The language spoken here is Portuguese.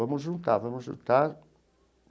Vamos juntar, vamos juntar.